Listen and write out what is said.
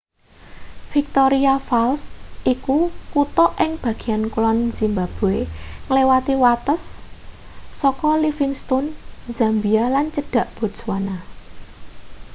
victoria falls iku kuta ing bagean kulon zimbabwe ngliwati wates saka livingstone zambia lan cedhak botswana